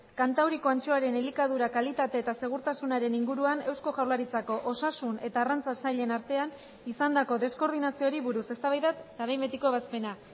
kantauriko antxoaren elikadura kalitate eta segurtasunaren inguruan eusko jaurlaritzako osasun eta arrantza sailen artean izandako deskoordinazioari buruz eztabaida eta behin betiko ebazpena